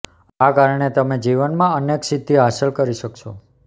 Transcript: આ કારણે તમે જીવનમાં અનેક સિદ્ધિ હાંસલ કરી શકશો